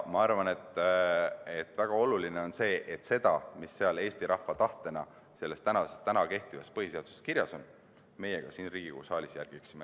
Ma arvan, et on väga oluline, et seda, mis Eesti rahva tahtena selles täna kehtivas põhiseaduses kirjas on, meie siin Riigikogu saalis ka järgiksime.